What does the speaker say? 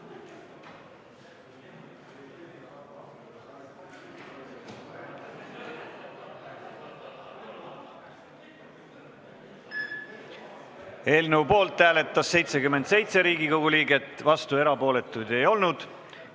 Hääletustulemused Eelnõu poolt hääletas 77 Riigikogu liiget, vastuolijaid ega erapooletuid ei olnud.